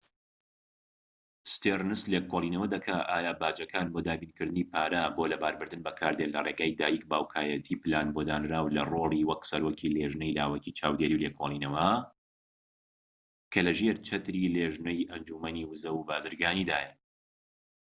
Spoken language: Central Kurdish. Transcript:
ستێرنس لێکۆڵینەوە دەکات ئایا باجەکان بۆ دابینکردنی پارە بۆ لەباربردن بەکاردێن لە ڕێگەی دایک/باوکایەتی پلان بۆ دانراو لە ڕۆلی وەک سەرۆکی لێژنەی لاوەکی چاودێری و لێکۆڵینەوە، کە لە ژێر چەتری لێژنەی ئەنجومەنی ووزە و بازرگانیدایە